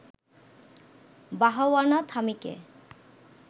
বাহাওয়ানা থামিকে